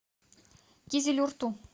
кизилюрту